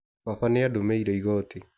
Baba nĩ adumĩire igoti.